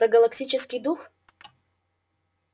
про галактический дух